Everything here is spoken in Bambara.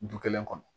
Du kelen kɔnɔ